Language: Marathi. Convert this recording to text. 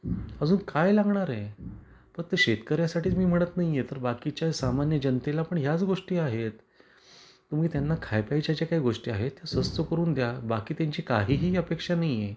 अजून काय लागणार आहे. फक्त शेतकर्यासाठीच मी म्हणत नाही आहे तर बाकीच्या सामान्य जनतेला पण ह्याच गोष्टी आहेत. तुम्ही त्यांना खाय प्यायच्या ज्या गोष्टी आहेत त्या स्वत करून द्या. बाकी त्यांची काहीही अपेक्षा नाही आहे.